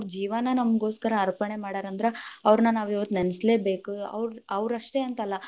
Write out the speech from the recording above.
ಅವ್ರ ಜೀವಾನ ನಮಗೋಸ್ಕರ ಅಪ೯ಣೆ ಮಾಡ್ಯಾರ ಅಂದ್ರ, ಅವ್ರ್ನ ನಾವ ಇವತ್ತ ನೆನಸಲೇಬೇಕು, ಅವ್ರ~ಅವ್ರ ಅಷ್ಟೆ ಅಂತ ಅಲ್ಲಾ.